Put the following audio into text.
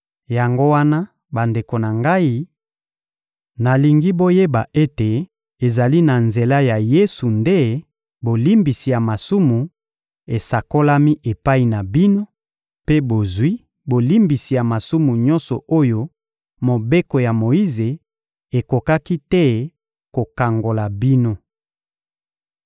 Yango wana, bandeko na ngai, nalingi boyeba ete ezali na nzela ya Yesu nde bolimbisi ya masumu esakolami epai na bino mpe bozwi bolimbisi ya masumu nyonso oyo Mobeko ya Moyize ekokaki te kokangola bino.